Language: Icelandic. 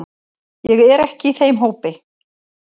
Ég er ekki í þeim hópi.